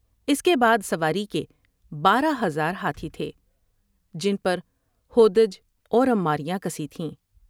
اس کے بعد سواری کے بارہ ہزار ہاتھی تھے جن پر ہودج اور عمار یاں کسی تھیں ۔